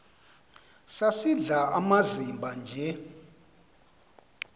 sisidl amazimba nje